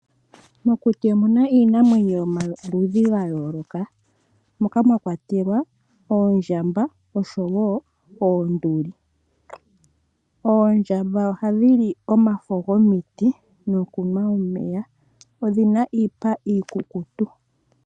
Mokuti omuna iinamwenyo yomaludhi ga yooloka, moka mwakwatelwa oondjamba oshowo oonduli. Oondjamba ohadhi li omafo gomiti nokunwa omeya. Oondjamba odhina iipa iikukutu.